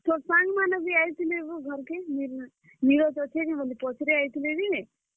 ତୋର୍ ସାଙ୍ଗମାନେ ବି ଆଇଥିଲେ ବୋ ଘର୍ କେ ନିରଜ ଅଛେ କାଏଁ ବୋଲି ପଚ୍ ରେଇ ଆଇଥିଲେ ଯେ।